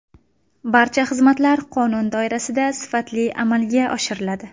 Barcha xizmatlar qonun doirasida, sifatli amalga oshiriladi.